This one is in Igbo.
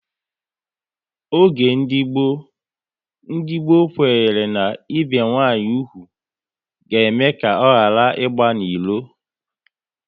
Oge ndị gboo, ndị gboo kwere na ibi nwanyị úgwù ga eme ka ọ ghara ịgba n'ilo